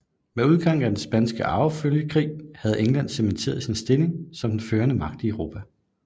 Med udgangen af Den Spanske Arvefølgekrig havde England cementeret sin stilling som den førende magt i Europa